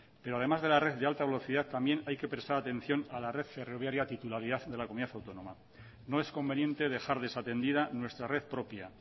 pero además de la red de alta velocidad también hay que prestar atención a la red ferroviaria titularidad de la comunidad autónoma no es conveniente dejar desatendida nuestra red propia